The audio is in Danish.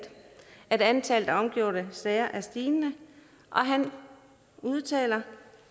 at antallet af omgjorte sager er stigende han udtaler